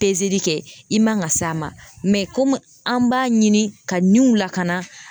kɛ i man ka s'a ma komi an b'a ɲini ka niw lakana